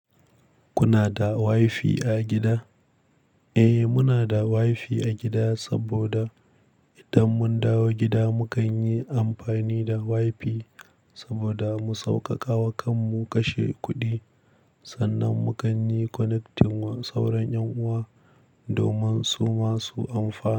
Kuna da WiFi a gida? Eh muna da WiFi a gida saboda idan mun dawo gida mu kan yi amfani da WiFi saboda mu sauƙaƙawa kanmu kashe kuɗi. Sannan mu kan yi connecting wa sauran ƴan uwa domin su ma su amfana.